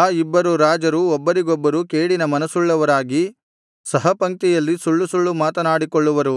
ಆ ಇಬ್ಬರು ರಾಜರು ಒಬ್ಬರಿಗೊಬ್ಬರು ಕೇಡಿನ ಮನಸುಳ್ಳವರಾಗಿ ಸಹ ಪಂಕ್ತಿಯಲ್ಲಿ ಸುಳ್ಳುಸುಳ್ಳು ಮಾತನಾಡಿಕೊಳ್ಳುವರು